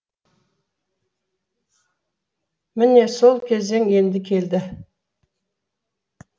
міне сол кезең енді келді